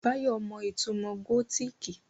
Báyọ̀ mọ ìtumò gótìkì